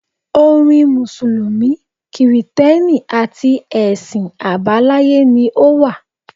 Orin Mùsùlùmí, kìrìtẹ́nì àti ẹ̀sìn àbáláyé ni ó wà.